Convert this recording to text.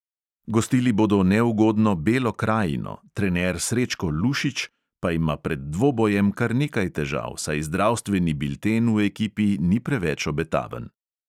Gostili bodo neugodno belo krajino, trener srečko lušić pa ima pred dvobojem kar nekaj težav, saj zdravstveni bilten v ekipi ni preveč obetaven.